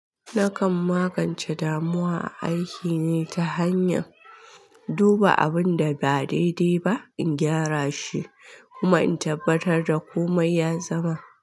Nakan magance damuwa a aiki ne ta hanyar duba abun da ba daidai ba, in gyara shi kuma in tabbatar da komai ya zama.